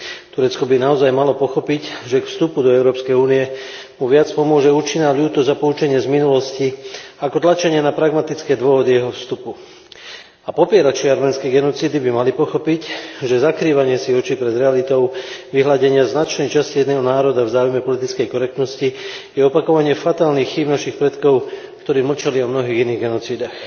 Turecko by naozaj malo pochopiť, že k vstupu do Európskej únie mu viac pomôže účinná ľútosť a poučenie z minulosti ako tlačenie na pragmatické dôvody jeho vstupu. A popierači arménskej genocídy by mali pochopiť, že zakrývanie si očí pred realitou, vyhladenie značnej časti jedného národa v záujme politickej korektnosti je opakovanie fatálnych chýb našich predkov, ktorí mlčali o mnohých iných genocídach.